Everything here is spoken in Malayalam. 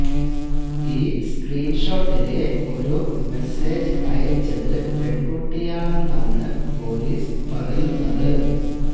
ഈ സ്ക്രീൻ ഷോട്ടിലെ ഒരു മെസേജ് അയച്ചത് പെൺകുട്ടിയാണെന്നാണ് പൊലീസ് പറയുന്നത്